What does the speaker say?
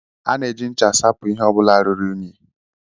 A na-eji ncha asapu ihe ọ bụla ruru unyi